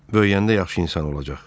Böyüyəndə yaxşı insan olacaq.